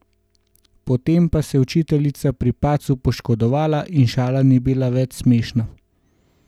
Potem pa se je učiteljica pri padcu poškodovala in šala ni bila več smešna.